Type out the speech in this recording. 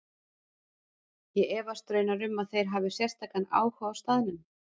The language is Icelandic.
Ég efast raunar um að þeir hafi sérstakan áhuga á staðnum.